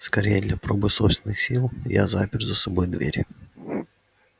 скорее для пробы собственных сил я запер за собой дверь